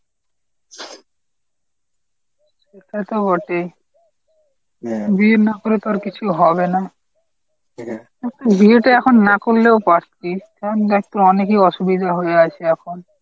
তা তো বটেই। বিয়ে না করে তো আর কিছুই হবে না বিয়েটা এখন না করলেও পারতিস কারণ দেখ তো অনেকেই অসুবিধা হয়ে আছে এখন।